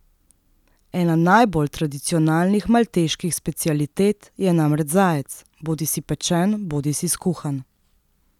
Ena najbolj tradicionalnih malteških specialitet je namreč zajec, bodisi pečen bodisi skuhan.